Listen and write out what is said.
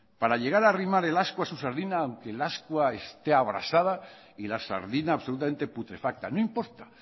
para intentar arrimar el ascua a su sardina aunque el ascua esté abrasada y la sardina absolutamente putrefacta no importa